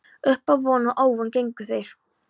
Uppá von og óvon gengu þeir